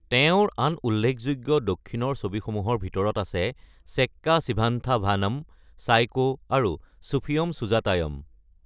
তেওঁৰ আন উল্লেখযোগ্য দক্ষিণৰ ছবিসমূহৰ ভিতৰত আছে চেক্কা চিভান্থা ভানম, চাইকো আৰু ছুফিয়ম সুজাতায়ম।